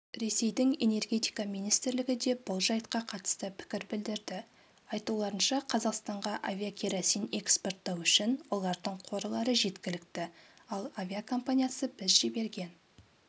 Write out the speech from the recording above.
ресейдің энергетика министрлігі де бұл жайтқа қатысты пікір білдірді айтуларынша қазақстанға авиакеросин экспорттау үшін олардың қорлары жеткілікті ал авиакомпаниясы біз жіберген